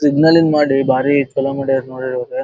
ಸಿಗ್ಲಿನ್ಡ್ ಮಾಡಿ ಬಾರಿ ಚಲೋ ಮಾಡಿರ್ ನೋಡ್ರಿ ಇವಾಗ.